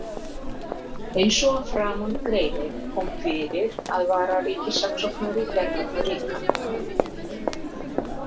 Eins og að framan greinir, kom fyrir að vararíkissaksóknari gerði það líka.